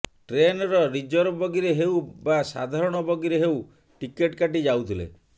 ଟ୍ରେନର ରିଜର୍ଭ ବଗିରେ ହେଉ ବା ସାଧାରଣ ବଗିରେ ହେଉ ଟିକଟ କାଟି ଯାଉଥିଲେ